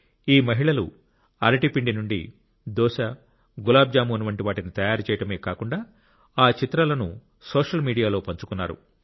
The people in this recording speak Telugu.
ఈ మహిళలు అరటి పిండి నుండి దోస గులాబ్ జామున్ వంటి వాటిని తయారు చేయడమే కాకుండా ఆ చిత్రాలను సోషల్ మీడియాలో పంచుకున్నారు